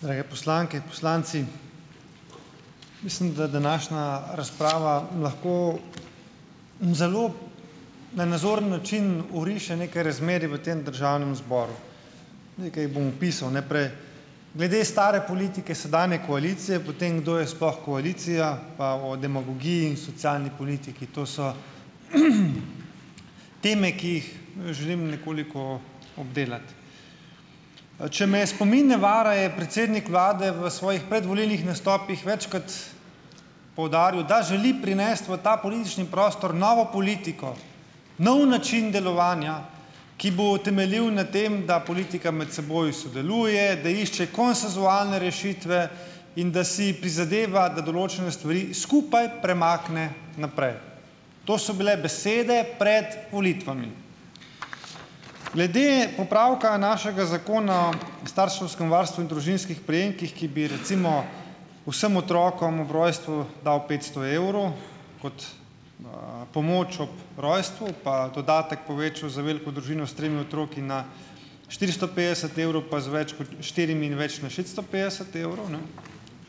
Drage poslanke, poslanci! Mislim, da današnja razprava lahko na zelo na nazoren način oriše neke razmere v tem državnem zboru. Nekaj jih bom opisal naprej. Glede stare politike sedanje koalicije, potem kadar je sploh koalicija, pa o demagogiji in socialni politiki. To so teme, ki jih, želim nekoliko obdelati. Če me spomin ne vara, je predsednik vlade v svojih predvolilnih nastopih večkrat poudaril, da želi prinesti v ta politični prostor novo politiko, nov način delovanja, ki bo temeljil na tem, da politika med seboj sodeluje, da išče konsenzualne rešitve in da si prizadeva, da določene stvari skupaj premakne naprej. To so bile besede pred volitvami. Glede popravka našega Zakona o starševskem varstvu in družinskih prejemkih, ki bi recimo vsem otrokom ob rojstvu dal petsto evrov kot, pomoč ob rojstvu pa dodatek povečal za veliko družino s tremi otroki na štiristo petdeset evrov pa z več kot štirimi in več na šeststo petdeset evrov, ne.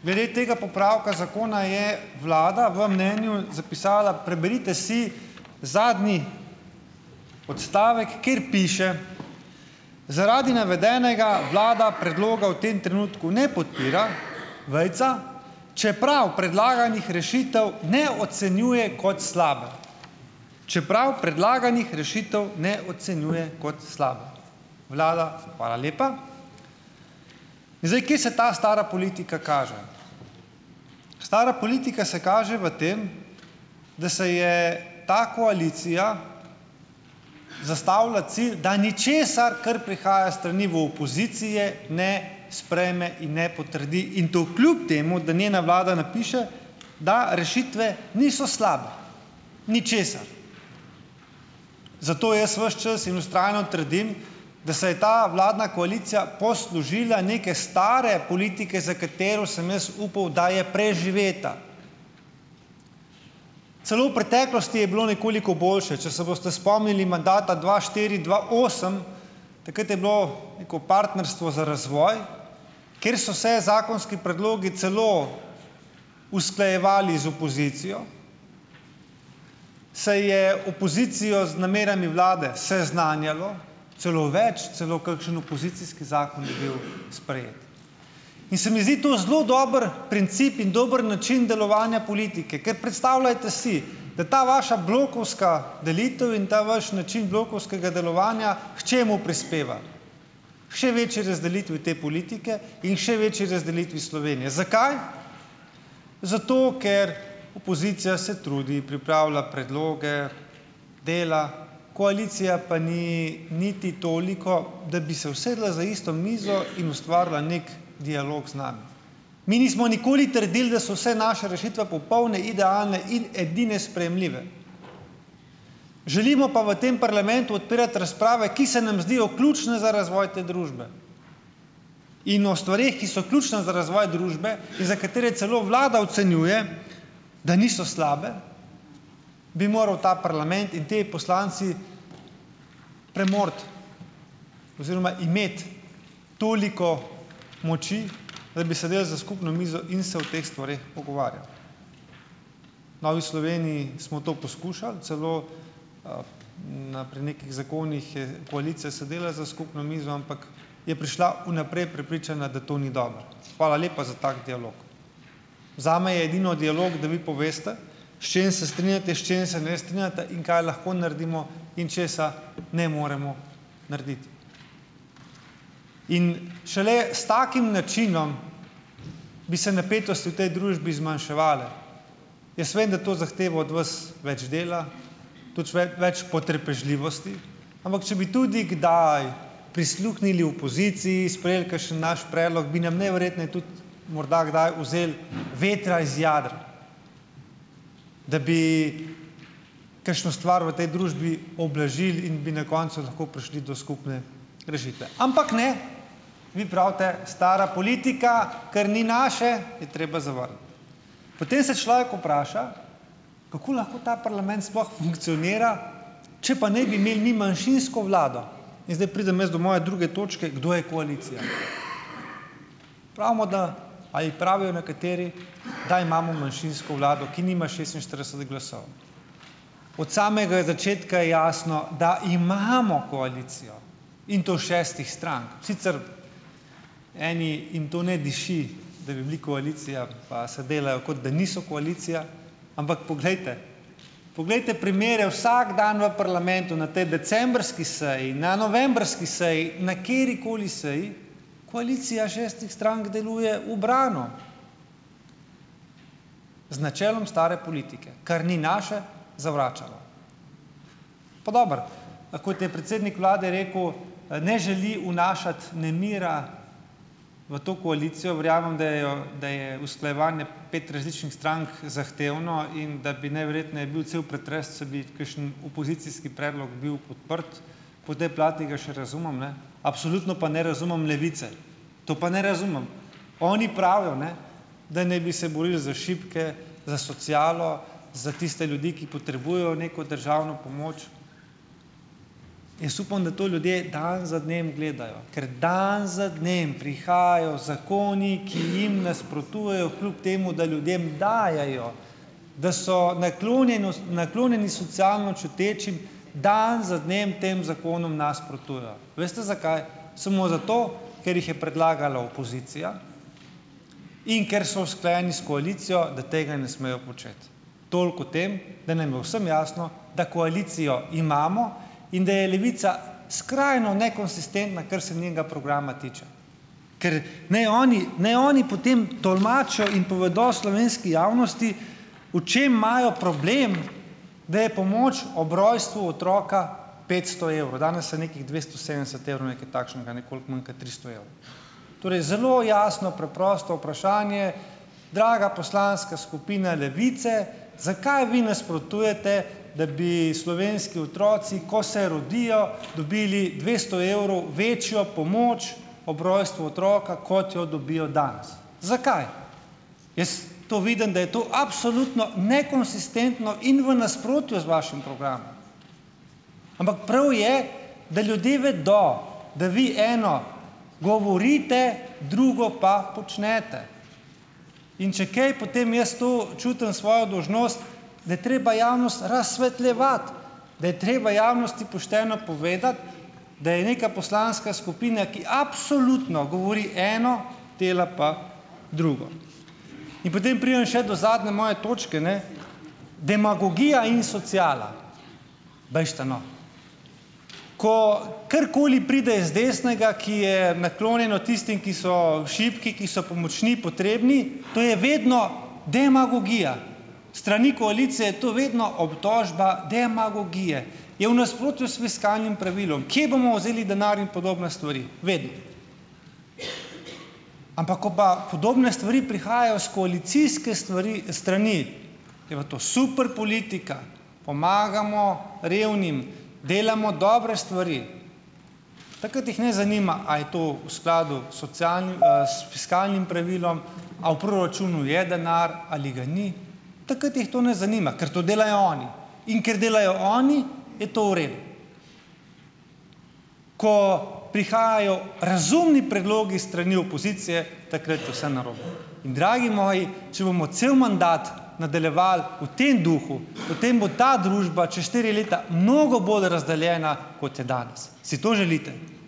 Glede tega popravka zakona je vlada v mnenju zapisala, preberite si zadnji odstavek, kjer piše: "Zaradi navedenega vlada predloga v tem trenutku ne podpira, vejica, čeprav predlaganih rešitev ne ocenjuje kot slabe." Čeprav predlaganih rešitev ne ocenjuje kot slabe. Vlada, hvala lepa. Zdaj, kje se ta stara politika kaže? Stara politika se kaže v tem, da se je ta koalicija zastavila cilj, da ničesar, kar prihaja s strani v opozicije, ne sprejme in ne potrdi in to kljub temu, da njena vlada napiše, da rešitve niso slabe. Ničesar. Zato jaz ves čas in vztrajno trdim, da se je ta vladna koalicija poslužila neke stare politike, za katero sem jaz upal, da je preživeta. Celo v preteklosti je bilo nekoliko boljše, če se boste spomnili mandata dva štiri-dva osem, takrat je bilo neko partnerstvo za razvoj, kjer so se zakonski predlogi celo usklajevali z opozicijo, se je opozicijo z namerami vlade seznanjalo. Celo več, celo kakšen opozicijski zakon je bil sprejet. In se mi zdi to zelo dober princip in dober način delovanja politike, ker predstavljate si, da ta vaša blokovska delitev in ta vaš način blokovskega delovanja k čemu prispeva? Še večji razdelitvi te politike in še večji razdelitvi Slovenije. Zakaj? Zato ker opozicija se trudi, pripravlja predloge, dela, koalicija pa ni niti toliko, da bi se usedla za isto mizo in ustvarila neki dialog z nami. Mi nismo nikoli trdili, da so vse naše rešitve popolne, idealne in edine sprejemljive. Želimo pa v tem parlamentu odpirati razprave, ki se nam zdijo ključne za razvoj te družbe in o stvareh, ki so ključne za razvoj družbe in za katere celo vlada ocenjuje, da niso slabe, bi moral ta parlament in ti poslanci premoči oziroma imeti toliko moči, da bi sedli za skupno mizo in se o teh stvareh pogovarjali. V Novi Sloveniji smo to poskušali, celo na pri nekih zakonih je koalicija sedala za skupno mizo, ampak je prišla vnaprej prepričana, da to ni dobro. Hvala lepa za tako dialog. Zame je edino dialog, da vi poveste, s čim se strinjate, s čim se ne strinjate in kaj lahko naredimo in česa ne moremo narediti. In šele s takim načinom bi se napetosti v tej družbi zmanjševale. Jaz vem, da to zahteva od vas več dela, tuč več potrpežljivosti, ampak če bi tudi kdaj prisluhnili opoziciji, sprejeli kakšen znaš predlog, bi nam najverjetneje tudi morda kdaj vzel vetra iz jader, da bi kakšno stvar v tej družbi ublažil in bi na koncu lahko prišli do skupne rešitve. Ampak ne, vi pravite: "Stara politika, kar ni naše, je treba zavrniti." Potem se človek vpraša, kako lahko ta parlament sploh funkcionira, če pa naj bi imel manjšinsko vlado in zdaj pridem jaz do moje druge točke - kdo je koalicija? Pravimo, da ... a ji pravijo nekateri, da imamo manjšinsko vlado, ki nima šestinštirideset glasov. Od samega začetka je jasno, da imamo koalicijo in to šestih strank, sicer eni ... jim to ne diši, da bi bili koalicija, pa se delajo, kot da niso koalicija, ampak poglejte, poglejte primere vsak dan v parlamentu na potem decembrski seji, na novembrski seji, na katerikoli seji - koalicija šestih strank deluje ubrano, z načelom stare politike: kar ni naše, zavračamo. Pa dobro, kot je predsednik vlade rekel, ne želi vnašati nemira v to koalicijo. Verjamem, da je, da je usklajevanje pet različnih strank zahtevno in da bi najverjetneje bil cel pretres, če bi kakšen opozicijski predlog bil podprt - po tej plati ga še razumem, ne. Absolutno pa ne razumem Levice, to pa ne razumem. Oni pravijo, ne, da naj bi se borili za šibke, za socialo, za tiste ljudi, ki potrebujejo neko državno pomoč. Jaz upam, da to ljudje dan za dnem gledajo, ker dan za dnem prihajajo zakoni, ki jim nasprotujejo, kljub temu da ljudem dajejo, da so naklonjenost, naklonjeni socialno čutečim, dan za dnem tem zakonom nasprotujejo. Veste zakaj? Samo zato, ker jih je predlagala opozicija in ker so usklajeni s koalicijo, da tega ne smejo početi. Toliko o tem, da naj bo vsem jasno, da koalicijo imamo in da je Levica skrajno nekonsistentna, kar se njenega programa tiče. Ker ni oni, ne oni potem tolmačijo in povedal slovenski javnosti, o čem imajo problem, da je pomoč ob rojstvu otroka petsto evrov. Danes je nekih dvesto sedemdeset evrov, nekaj takšnega, nekoliko manj kot tristo evrov. Torej zelo jasno preprosto vprašanje draga poslanska skupina Levice: "Zakaj vi nasprotujete, da bi slovenski otroci, ko se rodijo, dobili dvesto evrov večjo pomoč ob rojstvu otroka, kot jo dobijo danes?" Zakaj? Jaz to vidim, da je to absolutno nekonsistentno in v nasprotju z vašim programom, ampak prav je, da ljudje vedo, da vi eno govorite, drugo pa počnete in če kaj, potem jaz to čutim svojo dolžnost, da je treba javnost razsvetljevati, da je treba javnosti pošteno povedati, da je neka poslanska skupina, ki absolutno govori eno, dela pa drugo. In potem pridem še do zadnje moje točke, ne - demagogija in sociala. Bežite, no. Ko karkoli pride z desnega, ki je naklonjeno tistim, ki so šibki, ki so pomoči potrebni - to je vedno demagogija, s strani koalicije je to vedno obtožba demagogije. Je v nasprotju s fiskalnim pravilom, kje bomo vzeli denar in podobne stvari, vedno. Ampak, ko pa podobne stvari prihajajo s koalicijske stvari, strani, je pa to super politika, pomagamo revnim, delamo dobre stvari. Takrat jih ne zanima, a je to v skladu s socialnim, s fiskalnim pravilom, a v proračunu je denar ali ga ni, takrat jih to ne zanima, ker to delajo oni in ker delajo oni, je to v redu. Ko prihajajo razumni predlogi s strani opozicije, takrat je vse narobe in dragi moji, če bomo cel mandat nadaljevali v tem duhu, potem bo ta družba čas štiri leta mnogo bolj razdeljena kot je danes. Si to želite?